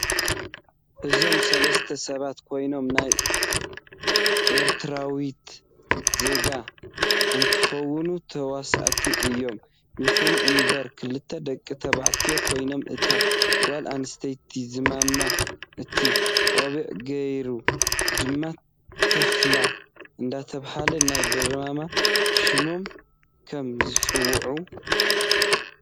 እዞም ሰለስተ ሰባት ኮይኖም ናይ ኤርትራዎት ዜጋ እንትኮን ተዋሳኢት እዩም ይኩን እንበር ክልተ ደቂ ተባዕትዮ ኮይኖም እታ ጋል ኣንስተይቲ ዝማም ፣እቲ ቆብዕ ገይሩ ድማ ታፍላ እደተበሃሉ ናይ ድረማ ሽሞም ከም ዝፅውዕ ።